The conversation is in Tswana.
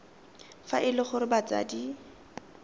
fa e le gore batsadi